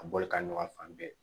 A bɔlikan ɲuman fan bɛɛ